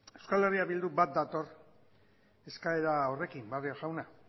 euskal herria bilduk bat dator eskaera horrekin barrio jauna